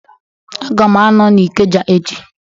Aga m a nọ n'ikeja echi